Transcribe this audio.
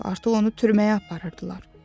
Artıq onu türməyə aparırdılar.